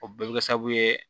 O bɛɛ bɛ kɛ sababu ye